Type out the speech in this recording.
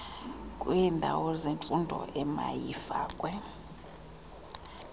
lwendawo njengemfuno emayifakwe